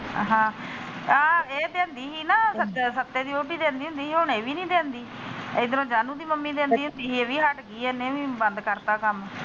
ਹਾਂ ਆਹ ਇਹ ਦੇਂਦੀ ਸੀ ਨਾ ਸੱਤੇ ਦੀ ਵੋਹਟੀ ਦੇਂਦੀ ਹੁੰਦੀ ਸੀ ਹੁਣ ਇਹ ਵੀ ਨਹੀਂ ਦੇਂਦੀ ਏਧਰੋਂ ਜਾਨੂੰ ਦੀ ਮੰਮੀ ਦੇਂਦੀ ਹੁੰਦੀ ਸੀ ਇਹ ਵੀ ਹੱਟ ਗਈ ਆ ਇਹਨੇ ਵੀ ਬੰਦ ਕਰਤਾ ਕੰਮ।